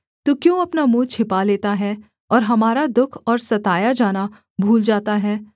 तू क्यों अपना मुँह छिपा लेता है और हमारा दुःख और सताया जाना भूल जाता है